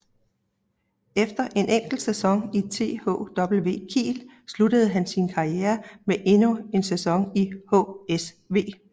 Efter en enkelt sæson i THW Kiel sluttede han sin karriere med endnu en sæson i HSV